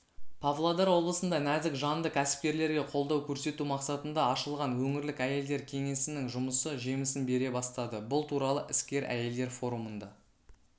павлодар облысында нәзік жанды кәсіпкерлерге қолдау көрсету мақсатында ашылған өңірлік әйелдер кеңесінің жұмысы жемісін бере бастады бұл туралы іскер әйелдер форумында